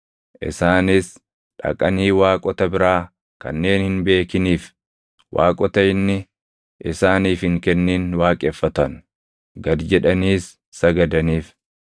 Isaanis dhaqanii waaqota biraa, kanneen hin beekiniif waaqota inni isaaniif hin kennin waaqeffatan; gad jedhaniis sagadaniif.